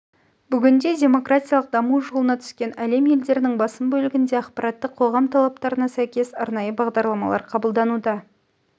бүгінде демократиялық даму жолына түскен әлем елдерінің басым бөлігінде ақпараттық қоғам талаптарына сәйкес арнайы бағдарламалар қабылдануда